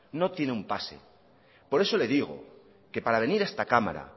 no tiene un pase por eso le digo que para venir a esta cámara